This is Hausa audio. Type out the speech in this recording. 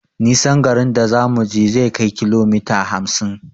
Nisan garin a zamuje zai kai kilomita hamsin